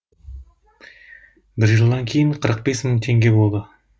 бір жылдан кейін қырық бес мың теңге болды